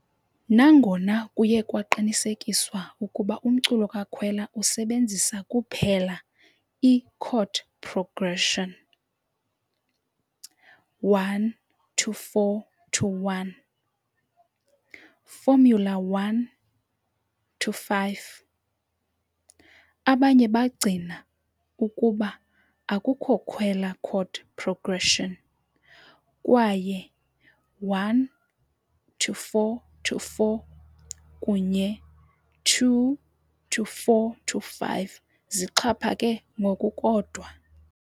Nangona kuye kwaqinisekiswa ukuba umculo kaKhwela usebenzisa kuphela i- chord progression I-IV-I. formula_1 -V., abanye bagcina ukuba akukho Khwela chord progression, kwaye I-IV-VI kunye II-IV-V zixhaphake ngokukodwa.